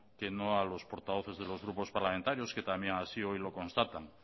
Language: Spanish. que no a los portavoces de los grupos parlamentarios que también hoy lo constatan